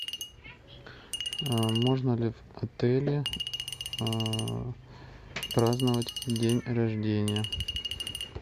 можно ли в отеле праздновать день рождения